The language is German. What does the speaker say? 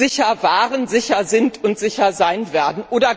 sicher waren, sicher sind und sicher sein werden.